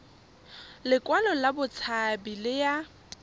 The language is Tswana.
lekwalo la botshabi le ya